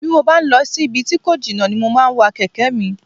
Bí mo bá ń lọ sí ibi tí kò jìnnà ni mo máa ń wa kẹ̀kẹ́ mi